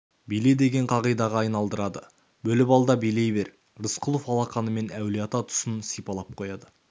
биле деген қағидаға айналдырады бөліп ал да билей бер рысқұлов алақанымен әулиеата тұсын сипалап қойды